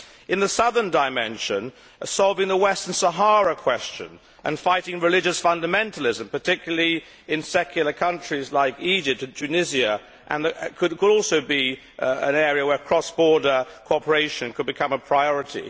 In the southern dimension, solving the Western Sahara question and fighting religious fundamentalism, particularly in secular countries like Egypt and Tunisia, could also be an area where cross border cooperation could become a priority.